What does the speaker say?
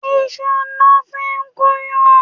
Iṣu lọ fi ń gúnyán.